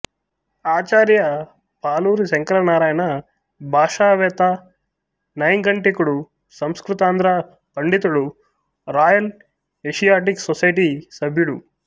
ఆచార్య పాలూరి శంకరనారాయణ భాషావేత్త నైఘంటికుడు సంస్కృతాంధ్ర పండితుడు రాయల్ ఏషియాటిక్ సొసైటీ సభ్యుడు